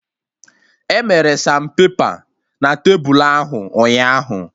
Emere sanpepa na tebulu ahụ ụnyaahụ